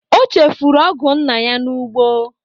O chefụrụ ọgụ nna ya n'ugbo.